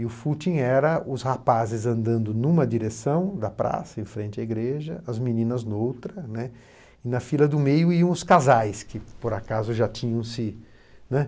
E o footing era os rapazes andando em uma direção da praça, em frente à igreja, as meninas em outra, e na fila do meio iam os casais que, por acaso, já tinham se né